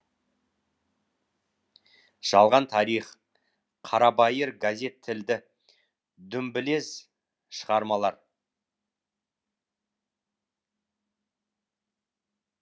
жалған тарих қарабайыр газет тілді дүмбілез шығармалар